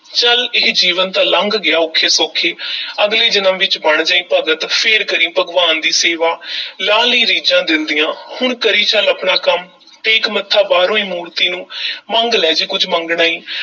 ਚੱਲ ਇਹ ਜੀਵਨ ਤਾਂ ਲੰਘ ਗਿਆ ਔਖੇ-ਸੌਖੇ ਅਗਲੇ ਜਨਮ ਵਿੱਚ ਬਣ ਜਾਈਂ ਭਗਤ, ਫਿਰ ਕਰੀਂ ਭਗਵਾਨ ਦੀ ਸੇਵਾ ਲਾਹ ਲਈਂ ਰੀਝਾਂ ਦਿਲ ਦੀਆਂ, ਹੁਣ ਕਰੀ ਚੱਲ ਆਪਣਾ ਕੰਮ, ਟੇਕ ਮੱਥਾ ਬਾਹਰੋਂ ਈ ਮੂਰਤੀ ਨੂੰ ਮੰਗ ਲੈ ਜੇ ਕੁਝ ਮੰਗਣਾ ਈ।